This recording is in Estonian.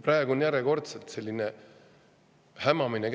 Praegu käib järjekordselt selline hämamine,